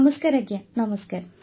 ନମସ୍କାର ଆଜ୍ଞା ନମସ୍କାର